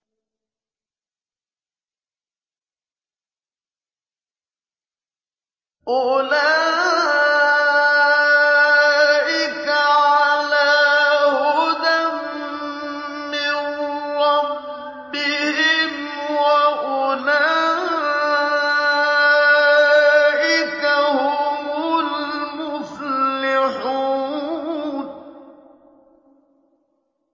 أُولَٰئِكَ عَلَىٰ هُدًى مِّن رَّبِّهِمْ ۖ وَأُولَٰئِكَ هُمُ الْمُفْلِحُونَ